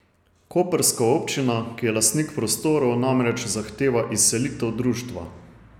Koprska občina, ki je lastnik prostorov, namreč zahteva izselitev društva.